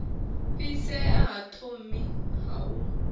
fhisea ha thomi ha u